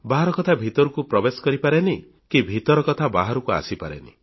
ବାହାର କଥା ଭିତରକୁ ପ୍ରବେଶ କରିପାରେନି କି ଭିତର କଥା ବାହାରକୁ ଆସିପାରେନି